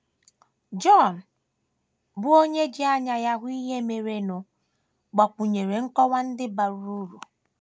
Jọn, bụ́ onye ji anya ya hụ ihe merenụ, gbakwụnyere nkọwa ndị bara uru.